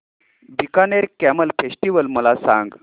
Bikaner camel festival मला सांग